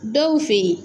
Dɔw fe yen